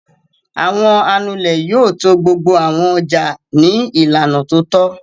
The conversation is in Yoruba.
Àwọn Anulẹ̀ yóò to gbogbo àwọn ọjà ní ìlànà tó tọ́.